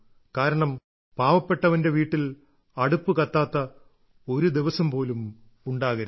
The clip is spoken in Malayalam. കാരണം പാവപ്പെട്ടവന്റെ വീട്ടിൽ അടുപ്പ് കത്താത്ത ഒരു ദിവസം പോലും ഉണ്ടാകരുത്